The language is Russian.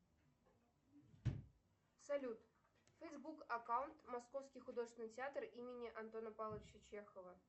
салют фейсбук аккаунт московский художественный театр имени антона павловича чехова